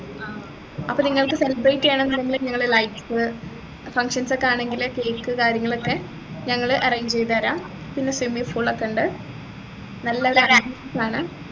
അപ്പൊ നിങ്ങൾക്ക് celebrate ചെയ്യാനെങ്കിൽ ഞങ്ങള് lights functions ഒക്കെ ആണെങ്കിൽ cake കാര്യങ്ങളും ഒക്കെ ഞങ്ങൾ arrange ചെയ്തുതരാം പിന്നെ swimming pool ഒക്കെ ഉണ്ട് നല്ലൊരു ambience ആണ്